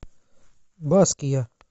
баския